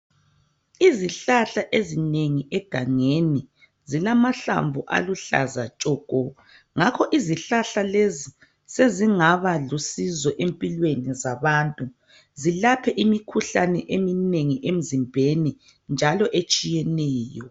izihlahla ezinengi egangeni zilamahlamvu aluhlaza tshoko ngakho izihlahla lezi sezingaba lusizo empilweni zabantu zilaphe imikhuhlane eminengi emzimbeni njalo etshiyeneyo